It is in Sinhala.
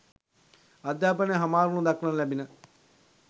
අධ්‍යාපනය හමාරවනු දක්නට ලැබිණ